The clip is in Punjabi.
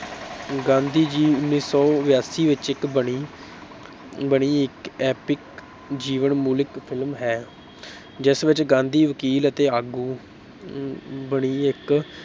ਗਾਂਧੀ ਜੀ ਉੱਨੀ ਸੌ ਬਿਆਸੀ ਵਿੱਚ ਇੱਕ ਬਣੀ ਬਣੀ ਇੱਕ epic ਜੀਵਨ ਮੂਲਕ film ਹੈ ਜਿਸ ਵਿੱਚ ਗਾਂਧੀ ਵਕੀਲ ਅਤੇ ਆਗੂ ਬਣੀ ਇੱਕ